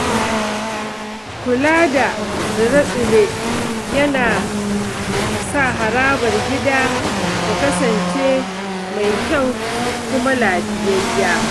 Kula da tsire-tsire yana sa harabar gida ta kasance mai kyau kuma lafiyayya.